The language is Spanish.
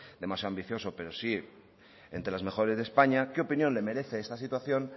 demasiado ambicioso pero sí de españa qué opinión le merece esta situación